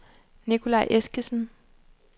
Nicolaj Eskesen